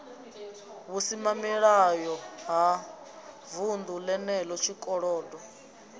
vhusimamilayo ha vunḓu lenelo tshikolodo